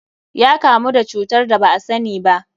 Ya kamu da cutar da ba asani ba.